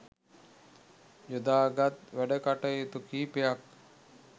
යොදාගත් වැඩකටයුතු කිහිපයක්